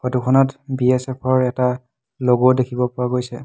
Photo খনত BSF ৰ এটা লোগো দেখিব পোৱা গৈছে।